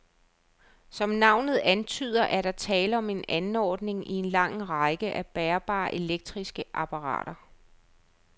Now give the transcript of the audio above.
Som navnet antyder, er der tale om en anordning i en lang række af bærbare elektriske apparater.